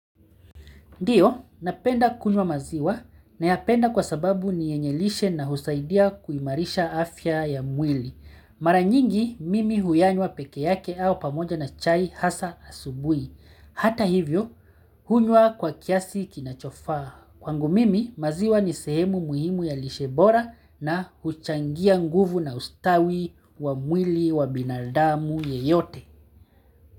Ndiyo, napenda kunywa maziwa, nayapenda kwa sababu ni yenye lishe na husaidia kuimarisha afya ya mwili. Mara nyingi, mimi huyanywa peke yake au pamoja na chai hasa asubui. Hata hivyo, hunywa kwa kiasi kinachofaa. Kwangu mimi, maziwa ni sehemu muhimu ya lishe bora na huchangia nguvu na ustawi wa mwili wa binadamu yeyote.